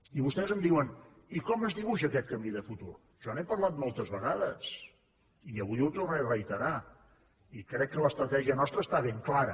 i vostès em diuen i com es dibuixa aquest camí de futur jo n’he parlat moltes vegades i avui ho tornaré a reiterar i crec que l’estratègia nostra està ben clara